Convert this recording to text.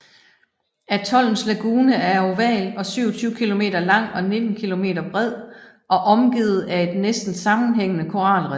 Atollens lagune er oval og 27 km lang og 19 km bred og omgivet af et næsten sammenhængende koralrev